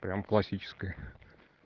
прям классическая